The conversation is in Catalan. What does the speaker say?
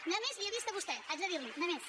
només li ho he vist a vostè haig de dir li ho només